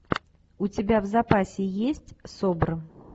у тебя в запасе есть собр